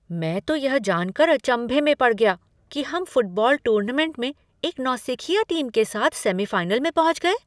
मैं तो यह जानकर अचंभे में पड़ गया कि हम फुटबॉल टूर्नामेंट में एक नौसिखिया टीम के साथ सेमीफ़ाइनल में पहुँच गए।